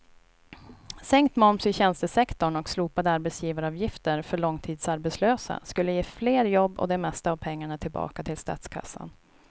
Sänkt moms i tjänstesektorn och slopade arbetsgivaravgifter för långtidsarbetslösa skulle ge fler jobb och det mesta av pengarna tillbaka till statskassan.